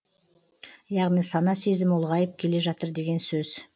яғни сана сезімі ұлғайып келе жатыр деген сөз